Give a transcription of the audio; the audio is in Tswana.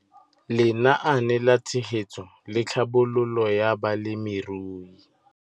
Lenaane la Tshegetso le Tlhabololo ya Balemirui